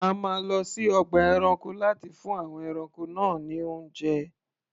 A máa lọ sí ọgbà ẹranko láti fún àwọn ẹranko náà ní oúnjẹ.